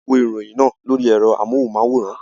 A wo ìròyìn náà lórí ẹ̀rọ amóhùnmáwòrán.